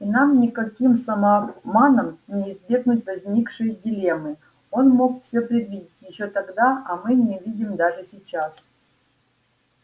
и нам никаким самообманом не избегнуть возникшей дилеммы он мог все предвидеть ещё тогда а мы не видим даже сейчас